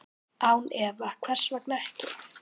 Án efa, hvers vegna ekki?